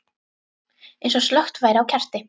Eins og slökkt væri á kerti.